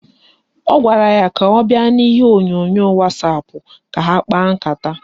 Ọ gwara ya ka ọ bịa n'ihe onyonyo wasapụ ka ha kpaa nkata